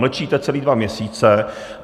Mlčíte celé dva měsíce.